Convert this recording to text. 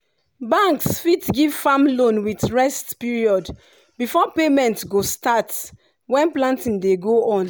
banks fit give farm loan with rest period before payment go start when planting dey go on.